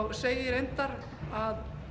og segi reyndar að